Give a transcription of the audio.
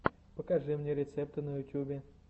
покажи мне рецепты на ютьюбе